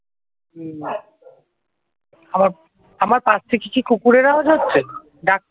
আমার পাশ থেকে কি কুকুরের আওয়াজ হচ্ছে? ডাক